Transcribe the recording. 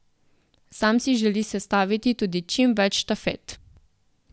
Sam si želi sestaviti tudi čim več štafet.